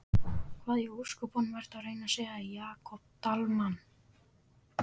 Hvað í ósköpunum ertu að reyna að segja, Jakob Dalmann?